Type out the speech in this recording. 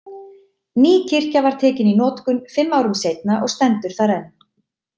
Ný kirkja var tekin í notkun fimm árum seinna og stendur þar enn.